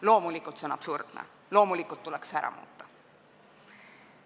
Loomulikult on see absurdne ja tuleks ära muuta.